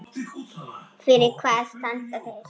Fyrir hvað standa þeir?